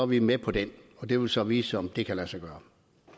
vi med på den det vil så vise sig om det kan lade sig gøre